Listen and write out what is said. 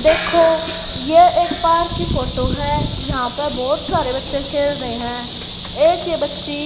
देखो यह एक पार्क की फोटो हैं यहां पे बहुत सारे बच्चे खेल रहें हैं एक ये बच्ची--